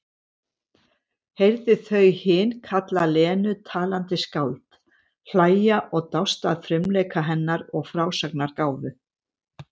Heyrði þau hin kalla Lenu talandi skáld, hlæja og dást að frumleika hennar og frásagnargáfu.